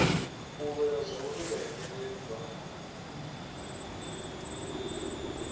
u lwela zwauri vhaimeleli vha